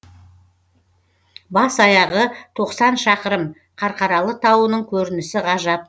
бас аяғы тоқсан шақырым қарқаралы тауының көрінісі ғажап